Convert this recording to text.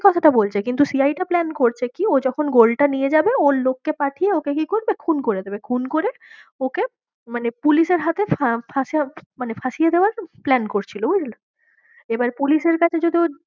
ওকে কথাটা বলছে কিন্তু CI টা plan করছে কি ও যখন gold টা নিয়ে যাবে, ও লোককে পাঠিয়ে ওকে কি করবে খুন করে দেবে, খুন করে ওকে মানে পুলিশের হাতে মানে ফাঁসিয়ে দেওয়ার plan করছিলো বুঝলি? এবারে পুলিশের কাছে যদি ও